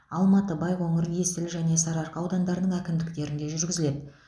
алматы байқоңыр есіл және сарыарқа аудандарының әкімдіктерінде жүргізіледі